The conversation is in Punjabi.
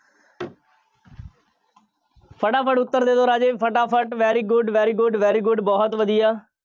ਫਟਾਫਟ ਉੱਤਰ ਦੇ ਦਿਓ ਰਾਜੇ, ਫਟਾਫਟ very good, very good, very good ਬਹੁਤ ਵਧੀਆ।